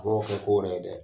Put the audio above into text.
A wo kɛ ko wɛrɛ dɛ